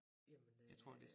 Jamen det